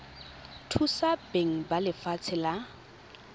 thusa beng ba lefatshe la